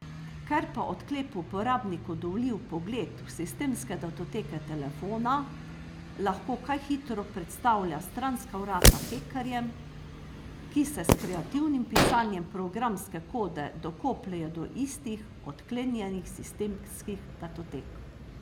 Ker pa odklep uporabniku dovoli vpogled v sistemske datoteke telefona, lahko kaj hitro predstavlja stranska vrata hekerjem, ki se s kreativnim pisanjem programske kode dokopljejo do istih odklenjenih sistemskih datotek.